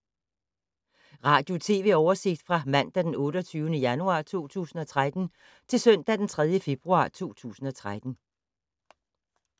Radio/TV oversigt fra mandag d. 28. januar 2013 til søndag d. 3. februar 2013